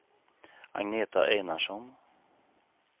Agneta Einarsson